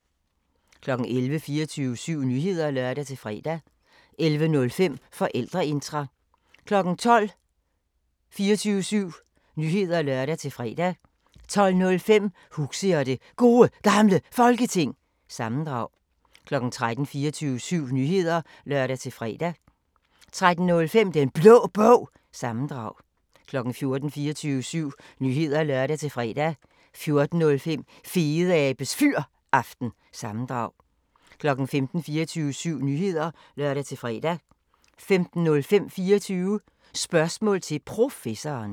11:00: 24syv Nyheder (lør-fre) 11:05: Forældreintra 12:00: 24syv Nyheder (lør-fre) 12:05: Huxi og det Gode Gamle Folketing – sammendrag 13:00: 24syv Nyheder (lør-fre) 13:05: Den Blå Bog – sammendrag 14:00: 24syv Nyheder (lør-fre) 14:05: Fedeabes Fyraften – sammendrag 15:00: 24syv Nyheder (lør-fre) 15:05: 24 Spørgsmål til Professoren